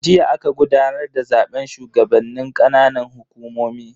Jiya aka gudanar da zaben shugabannin ƙananan hukumomi.